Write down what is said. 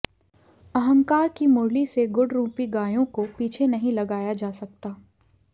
अहंकार की मुरली से गुण रूपी गायों को पीछे नहीं लगाया जा सकता